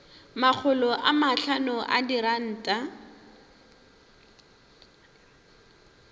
makgolo a mahlano a diranta